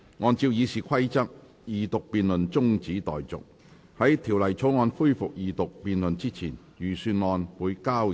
按照《議事規則》，二讀辯論中止待續；在條例草案恢復二讀辯論之前，預算案交由財務委員會審核。